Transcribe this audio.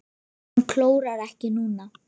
Hann klórar ekki núna.